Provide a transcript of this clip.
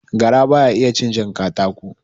Gara baya iya cin jan katako